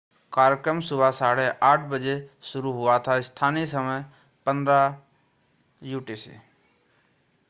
कार्यक्रम सुबह 8:30 बजे शुरू हुआ था। स्थानीय समय 15.00 utc।